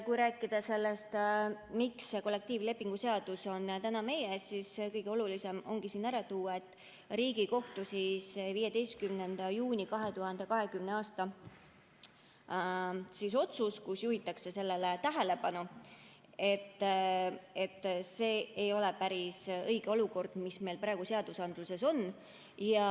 Kui rääkida sellest, miks see kollektiivlepingu seadus on täna meie ees, siis kõige olulisem ongi siin ära tuua, et Riigikohtu 15. juuni 2020. aasta otsuses juhitakse tähelepanu, et see ei ole päris õige olukord, mis meil praegu seadustes on.